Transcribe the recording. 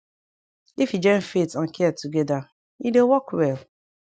if u join faith and care togeda e dey work well